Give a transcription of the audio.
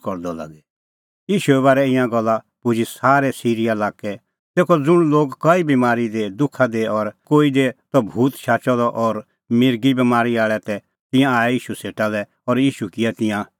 ईशूए बारै ईंयां गल्ला पुजी सारै सिरीया लाक्कै तेखअ ज़ुंण लोग कई बमारी दी दुखा दी और कोई दी त भूत शाचअ द और मिर्गिए बमारी आल़ै तै तिंयां आऐ ईशू सेटा लै और ईशू किऐ तिंयां सोभ राम्बल़ै